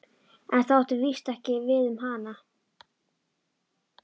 En það átti víst ekki við um hana.